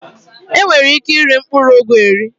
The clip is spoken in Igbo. E nwere ike i ri mkpụrụ ụgụ eri.